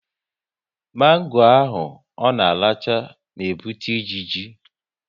Mango ahụ ọ na-aracha n'ebute ijiji